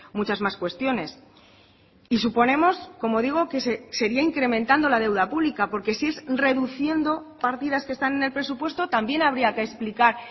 muchas más cuestiones y suponemos como digo que sería incrementando la deuda pública porque si es reduciendo partidas que están en el presupuesto también habría que explicar